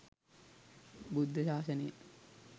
බුද්ධ ශාසනය